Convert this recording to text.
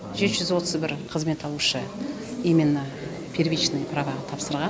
жеті жүз отыз бір қызмет алушы именно первичный праваға тапсырған